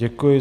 Děkuji.